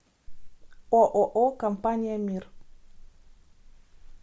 ооо компания мир